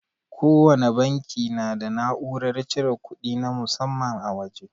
Kowana banki na da na'urar cire kudi na musamman a waje.